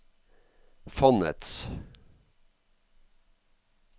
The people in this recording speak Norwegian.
fondets